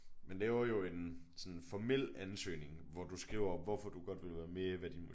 Man laver jo en sådan formel ansøgning hvor du skriver hvorfor du godt vil være med hvad din